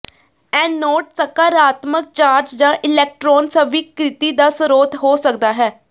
anode ਸਕਾਰਾਤਮਕ charge ਜਾਂ electron ਸਵੀਕ੍ਰਿਤੀ ਦਾ ਸਰੋਤ ਹੋ ਸਕਦਾ ਹੈ